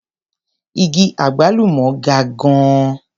Igi àgbálùmọ́ ga gan-an.